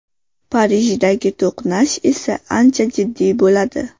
Parijdagi to‘qnash esa ancha jiddiy bo‘ladi.